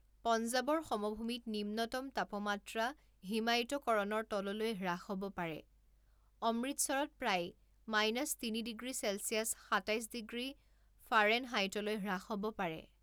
পঞ্জাৱৰ সমভূমিত নিম্নতম তাপমাত্ৰা হিমায়িতকৰণৰ তললৈ হ্ৰাস হ'ব পাৰে, অমৃতসৰত প্ৰায় মাইনাছ তিনি ডিগ্ৰী চেলছিয়াছ সাতাইছ ডিগ্ৰী ফাৰেনহাইটলৈ হ্ৰাস হ'ব পাৰে।